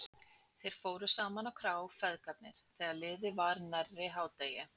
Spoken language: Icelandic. Þeir fóru saman á krá, feðgarnir, þegar liðið var nærri hádegi.